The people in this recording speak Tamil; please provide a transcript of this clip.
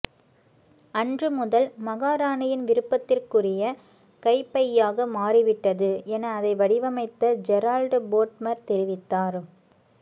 அன்று முதல் மகாராணியின் விருப்பத்துக்குறிய கைபையாக மாறிவிட்டது என அதை வடிவமைத்த ஜெரால்ட் போட்மர் தெரிவித்தார்